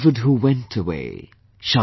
The beloved who went away,